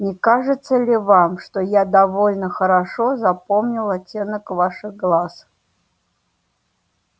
не кажется ли вам что я довольно хорошо запомнил оттенок ваших глаз